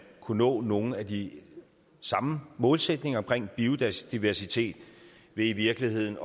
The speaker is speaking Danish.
kunne nå nogle af de samme målsætninger omkring biodiversitet ved i virkeligheden